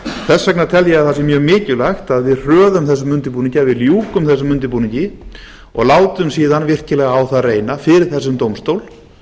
þess vegna tel ég að það sé mjög mikilvægt að við hröðum þessum undirbúningi að við ljúkum þessum undirbúningi og látum síðan virkilega á það reyna fyrir þessum dómstól